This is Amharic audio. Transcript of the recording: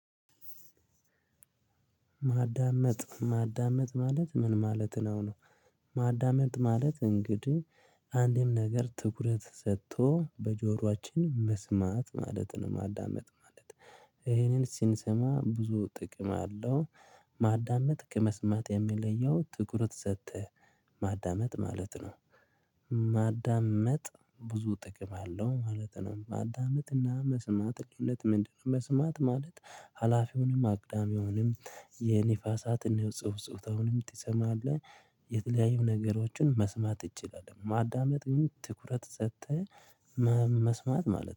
ማዳመጥ ማዳመጥ ማለት ምን ማለት ነው ነው? ማዳመጥ ማለት እንግዲህ አንድም ነገር ትኩረት ሰጥቶ በጆሯችን መስማት ማለት ነው ማዳመጥ ማለት። ይሄንን ሲንሰማ ብዙ ጥቅም አለው። ማዳመጥ ከመስማት የሚለየው ትኩረት ሰተህ። ማዳመጥ ማለት ነው። ማዳመጥ ብዙ ጥቅም አለው ማለት ነው። ማዳመጥና መስማት ልዪነት ምንድነው? መስማት ማለት ሀላፊውንም አግዳሚውንም የንፋሳትን የጽሁፍ ጽሁፍ ተውንም ትሰማለህ? የተለያዩ ነገሮችን መስማት እችላለሁ ማዳመጥ ግን ትኩረት ሰተህ። መስማት ማለት ነው